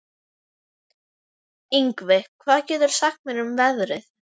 Yngvi, hvað geturðu sagt mér um veðrið?